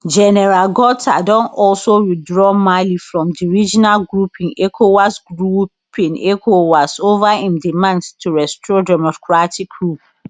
gen gota don also withdraw mali from di regional grouping ecowas grouping ecowas over im demands to restore democratic rule